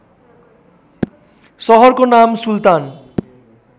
सहरको नाम सुलतान